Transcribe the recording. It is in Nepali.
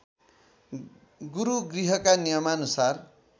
गुरूगृहका नियमानुसार